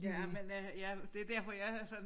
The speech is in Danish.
Ja men øh ja det derfor jeg er sådan